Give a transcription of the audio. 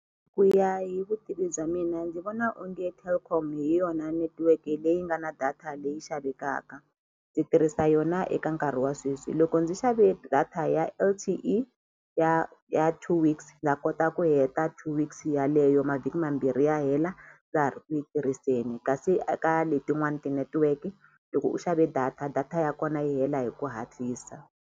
Ku ya hi vutivi bya mina ndzi vona onge Telkom hi yona netiweke leyi nga na data leyi xavekaka ndzi tirhisa yona eka nkarhi wa sweswi loko ndzi xave data ya L_T_E ya ya two weeks na kota ku heta two weeks yaleyo mavhiki mambirhi ya hela ndza ha ri ku yi tirhiseni kasi eka letin'wani ti-network-i loko u xave data data ya kona yi hela hi ku hatlisa.